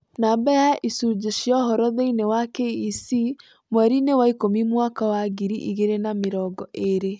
Namba ya icunjĩ cia ũhoro thĩinĩ wa KEC mweri-inĩ wa ikũmi mwaka wa ngiri igĩrĩ na mĩrongo ĩĩrĩ.